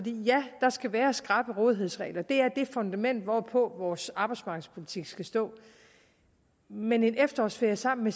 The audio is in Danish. ja der skal være skrappe rådighedsregler det er det fundament hvorpå vores arbejdsmarkedspolitik skal stå men en efterårsferie sammen